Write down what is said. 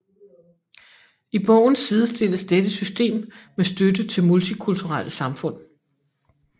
I bogen sidestilles dette system med støtte til multikulturelle samfund